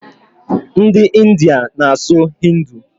Ndị India na asụ hindu